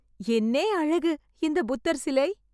என்னே அழகு! இந்த புத்தர் சிலை